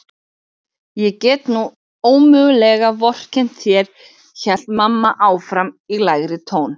Ég get nú ómögulega vorkennt þér hélt mamma áfram í lægri tón.